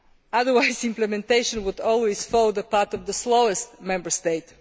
Otherwise implementation would always follow the path of the slowest Member State.